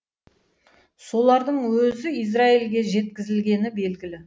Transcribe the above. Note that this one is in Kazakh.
солардың өзі израильге жеткізілгені белгілі